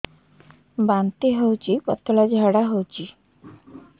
ବାନ୍ତି ହଉଚି ପତଳା ଝାଡା ହଉଚି